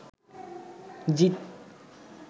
জিত